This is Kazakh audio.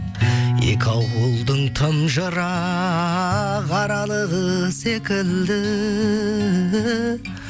екі ауылдың тым жырақ аралығы секілді